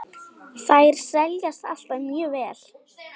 Þær seljast alltaf mjög vel.